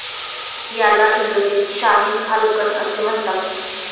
याला इंग्रजीत शाहीन फाल्कन असे म्हणतात.